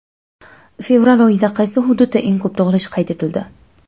Fevral oyida qaysi hududda eng ko‘p tug‘ilish qayd etildi?.